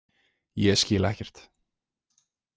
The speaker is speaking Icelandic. Ég skil ekkert.